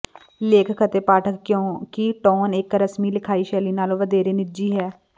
ਲੇਖਕ ਅਤੇ ਪਾਠਕ ਕਿਉਂਕਿ ਟੋਨ ਇਕ ਰਸਮੀ ਲਿਖਾਈ ਸ਼ੈਲੀ ਨਾਲੋਂ ਵਧੇਰੇ ਨਿੱਜੀ ਹੈ